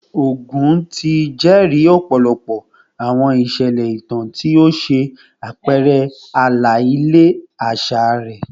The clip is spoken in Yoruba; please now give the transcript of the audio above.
Ogun ti jẹri ọpọlọpọ awọn iṣẹlẹ itan ti o ṣe apẹrẹ ala-ilẹ aṣa rẹ